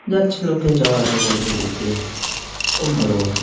যাচ্ছে লোকে যাওয়া আসা করুক এদিক দিয়ে খুব ভালো কথা।